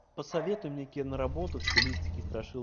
посоветуй мне киноработу в стилистике страшилки